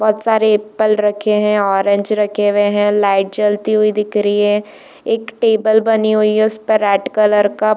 बहुत सारे एप्पल रखे है ऑरेंज रखे हुए है। लाइट जलती हुई दिख रही है। एक टेबल बनी हुई है उसमे रेड कलर का--